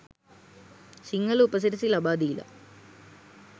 සිංහල උපසිරැසි ලබා දීල